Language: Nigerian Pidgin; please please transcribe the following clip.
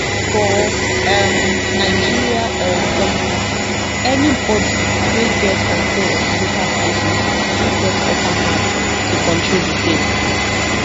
for um nigeria um politics anybody wey get control of di local councils na im get upper hand to control di state